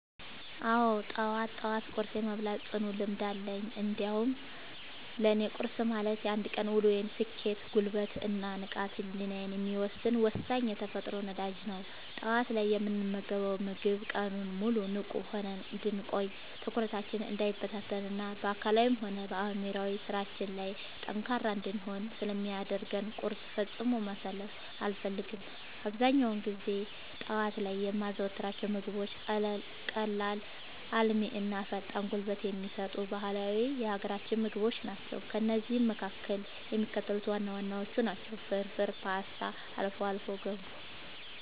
አዎ፣ ጠዋት ጠዋት ቁርስ የመብላት ጽኑ ልምድ አለኝ። እንዲያውም ለእኔ ቁርስ ማለት የአንድ ቀን ውሎዬን ስኬት፣ ጉልበት እና ንቃተ ህሊናዬን የሚወሰን ወሳኝ የተፈጥሮ ነዳጅ ነው። ጠዋት ላይ የምንመገበው ምግብ ቀኑን ሙሉ ንቁ ሆነን እንድንቆይ፣ ትኩረታችን እንዳይበታተን እና በአካላዊም ሆነ በአእምሯዊ ስራዎቻችን ላይ ጠንካራ እንድንሆን ስለሚያደርገን ቁርስን ፈጽሞ ማሳለፍ አልፈልግም። አብዛኛውን ጊዜ ጠዋት ላይ የማዘወትራቸው ምግቦች ቀላል፣ አልሚ እና ፈጣን ጉልበት የሚሰጡ ባህላዊ የሀገራችንን ምግቦች ናቸው። ከእነዚህም መካከል የሚከተሉት ዋና ዋናዎቹ ናቸው፦ ፍርፍር: ፖስታ: አልፎ አልፎ ገንፎ